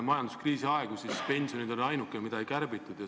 Majanduskriisi aegadel olid pensionid asi, mida ei kärbitud.